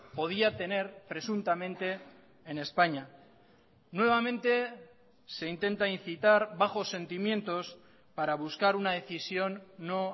podía tener presuntamente en españa nuevamente se intenta incitar bajo sentimientos para buscar una decisión no